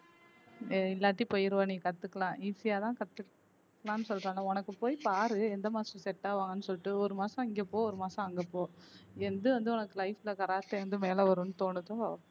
எல்லாத்தையும் போயிருவோம் நீ கத்துக்கலாம் easy ஆ தான் கத்துக்கலாம் சொல்றானே உனக்கு போய் பாரு எந்த master set ஆவாங்கன்னு சொல்லிட்டு ஒரு மாசம் இங்க போ ஒரு மாசம் அங்க போ எந்து வந்து உனக்கு life ல கராத்தே வந்து இருந்து மேல வரும்ன்னு தோணுதோ